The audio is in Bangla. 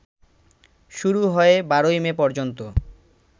শুরু হয়ে ১২ই মে পর্যন্ত